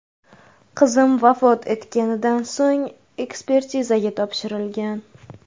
Qizim vafot etganidan so‘ng, ekspertizaga topshirilgan.